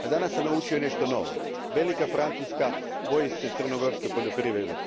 A danas sam naučio i nešto novo velika Francuska boji se crnogorske poljoprivrede.